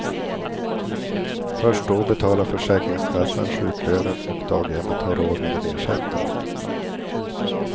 Först då betalar försäkringskassan sjuklönen och daghemmet har råd med en ersättare.